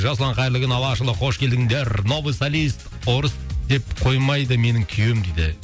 жасұлан қайырлы күн алашұлы қош келдіңдер новый солист орыс деп қоймайды менің күйеуім дейді